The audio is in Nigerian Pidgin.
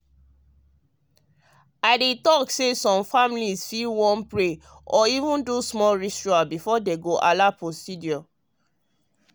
i dey talk say some families fit wan pray or even do small rituals before dem allow procedure.